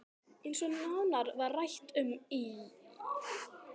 Eins og nánar var rætt um í